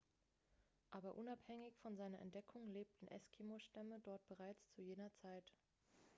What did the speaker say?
aber unabhängig von seiner entdeckung lebten eskimo-stämme dort bereits zu jener zeit